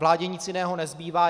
Vládě nic jiného nezbývá.